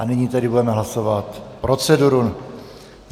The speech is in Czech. A nyní tedy budeme hlasovat proceduru.